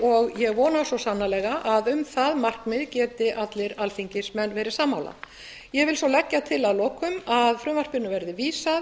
og ég vona svo sannarlega að um það markmið geti allir alþingismenn verið sammála ég legg svo til að lokum að frumvarpinu verði vísað